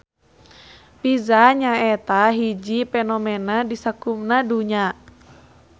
Pizza nyaeta hiji fenomena di sakumna dunya.